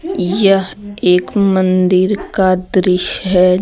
यह एक मंदिर का दृश्य है।